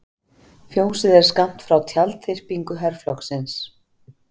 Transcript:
Fjósið er skammt frá tjaldþyrpingu herflokksins.